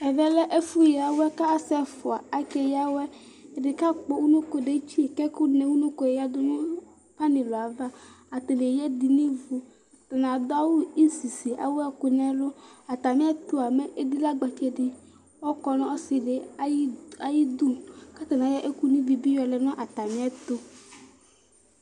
Avɛlɛ ɛfʋ ya awɛ kʋ asi ɛfʋa ake ya awɛ ɛdi kakpɔ unoko detsi kʋ ɛkʋnɛ unoko yɛ yadʋ nʋ panilʋɛ ava atani eya ɛdi nʋ ivʋ atani adʋ awʋ isisi kʋ ewʋ ɛkʋ nʋ ɛlʋ atami ɛtʋa mɛ edilagbetse di ɔkɔ nʋ ɔsidi ayʋ idʋ kʋ atani ayɔ ɛkʋ no ivibi lɛnʋ atami ɛtʋv